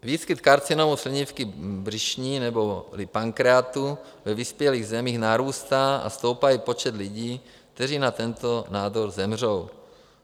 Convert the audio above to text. Výskyt karcinomu slinivky břišní neboli pankreatu ve vyspělých zemích narůstá a stoupá i počet lidí, kteří na tento nádor zemřou.